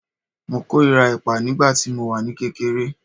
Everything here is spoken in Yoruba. Mo kórìíra ẹ̀pà nígbà tí mo wà ní kékeré